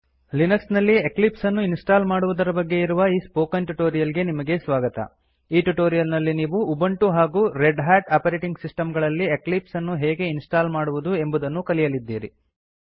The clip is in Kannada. ಲಿನಕ್ಸ್ ನಲ್ಲಿ ಎಕ್ಲಿಪ್ಸ್ ಅನ್ನು ಇನ್ಸ್ಟಾಲ್ ಮಾಡುವುದರ ಬಗ್ಗೆ ಇರುವ ಈ ಸ್ಪೋಕನ್ ಟ್ಯಿಉಟೋರಿಯಲ್ ಗೆ ನಿಮಗೆ ಸ್ವಾಗತ ಈ ಟ್ಯುಟೋರಿಯಲ್ ನಲ್ಲಿ ನೀವು ಉಬಂಟು ಹಾಗು ರೆಡ್ ಹಾಟ್ ಆಪರೆಟಿಂಗ್ ಸಿಸ್ಟಮ್ ಗಳಲ್ಲಿ ಎಕ್ಲಿಪ್ಸ್ ಅನ್ನು ಹೇಗೆ ಇನ್ಸ್ಟಾಲ್ ಮಾಡುವುದು ಎಂಬುದನ್ನು ಕಲಿಯಲಿದ್ದೀರಿ